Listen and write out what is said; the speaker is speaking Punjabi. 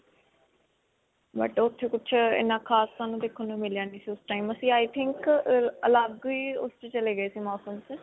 but ਉੱਥੇ ਕੁਝ ਅਅ ਇਨ੍ਹਾਂ ਖਾਸ ਸਾਨੂੰ ਦੇਖਣ ਨੂੰ ਮਿਲਿਆ ਨਹੀਂ ਸੀ. ਉਸ time ਅਸੀ i think ਅਅ ਅਲਗ ਹੀ ਉਸ 'ਚ ਚਲੇ ਗਏ ਸੀ. ਮੌਸਮ 'ਚ.